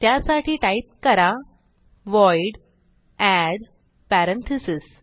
त्यासाठी टाईप करा void add parentheses